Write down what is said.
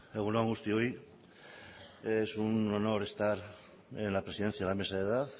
egun on guztioi es un honor estar en la presidencia de la mesa de edad